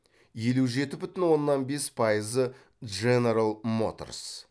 елу жеті бүтін оннан бес пайызы дженерал моторс